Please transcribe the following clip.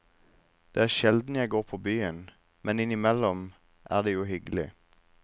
Det er sjelden jeg går på byen, men innimellom er det jo hyggelig.